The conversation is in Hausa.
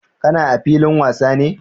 Ka na a filin wasa ne?